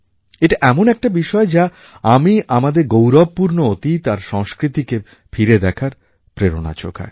এটা এমন একটা বিষয় যা আমি আমাদের গৌরবপূর্ণ অতীত আর সংস্কৃতিকে ফিরে দেখার প্রেরণা যোগায়